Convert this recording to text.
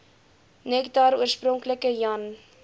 nektar oorspronklik jan